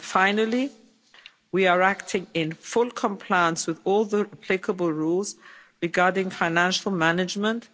Finally, we are acting in full compliance with all the applicable rules regarding financial management